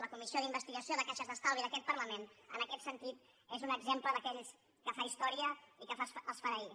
la comissió d’investigació de caixes d’estalvi d’aquest parlament en aquest sentit és un exemple d’aquells que fa història i que fa esfereir